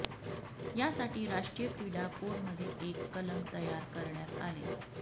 यासाठी राष्ट्रीय क्रीडा कोडमध्ये एक कलम तयार करण्यात आले